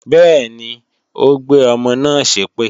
Bẹ́ẹ̀ni, ó gbé ọmọ náà ṣépè